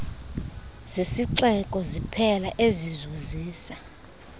zesixeko siphela ezizuzisa